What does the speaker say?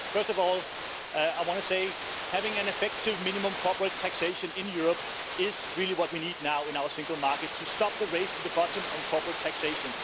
First of all, having an effective minimum corporate taxation in Europe is really what we need now in our single market to stop the race to the bottom on corporate taxation.